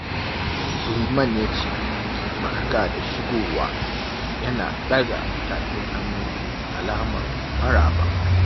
Liman ya ce "Barka da shigowa" yana ɗaga tafin hannu alamar maraba.